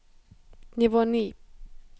nivå ni